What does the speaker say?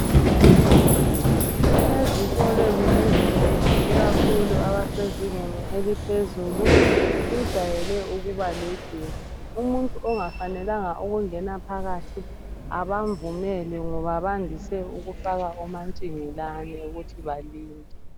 Ezikolweni ezinengi ikakhulu abasezingeni eliphezulu kujayele ukuba legedi. Umuntu ongafanelanga ukungena phakathi abamvumeli ngoba bandise ukufaka omantshingelane ukuthi balinde.